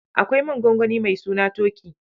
Akwai man gongoni mai suna Toki.